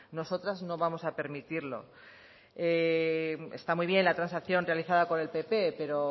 nosotras no vamos a permitirlo esta muy bien la transacción realizada por el pp pero